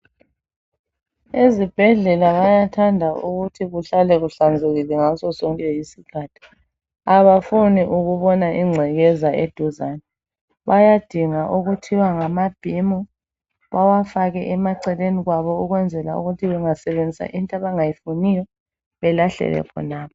ezibhedlela bayathanda ukuthi kuhlale kuhlanzekile ngaso sonke isikhathi abafuni ukubona incekeza eduzane bayadinga okuthiwa ngamabhimu bawafake emaceleni kwabo ukwenzela ukuthi bengasebenzisa into abangayifuniyo belahlele khonapho